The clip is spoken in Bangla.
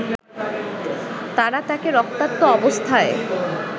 তারা তাকে রক্তাক্ত অবস্থায়